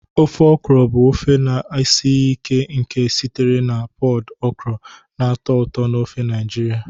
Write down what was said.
Ofe okra bụ ofe na-esighị ike nke sitere na pọd okra na-atọ ụtọ n'ofe Naijiria.